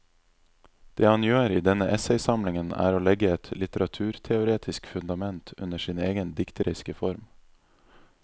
Det han gjør i denne essaysamlingen er å legge et litteraturteoretisk fundament under sin egen dikteriske form.